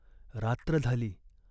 रात्र झाली.